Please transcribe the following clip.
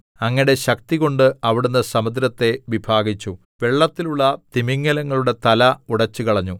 അങ്ങയുടെ ശക്തികൊണ്ട് അവിടുന്ന് സമുദ്രത്തെ വിഭാഗിച്ചു വെള്ളത്തിലുള്ള തിമിംഗലങ്ങളുടെ തല ഉടച്ചുകളഞ്ഞു